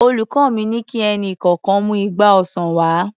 Olùkọ́ mi ni kí ẹnì kọ̀ọ̀kan mú igba ọsàn wá.